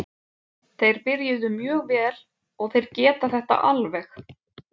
Þeir byrjuðu mjög vel og þeir geta þetta alveg.